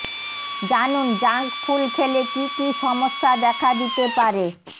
জানুন junk food খেলে কী কী সমস্যা দেখা দিতে পারেঃ